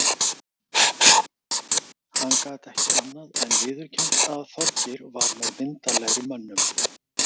Hann gat ekki annað en viðurkennt að Þorgeir var með myndarlegri mönnum.